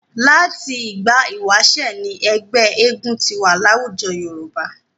Láti ìgbà ìwáṣẹ̀ ni ẹgbẹ́ eégún ti wà láwùjọ Yorùbá.